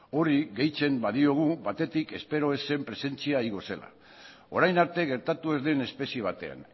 hori gehitzen badiogu batetik espero ez zen presentzia igo zela orain arte gertatu ez den espezie batean